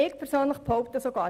Ich persönlich behaupte sogar: